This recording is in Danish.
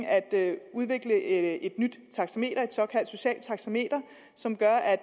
af at udvikle et nyt taxameter et såkaldt socialt taxameter som gør at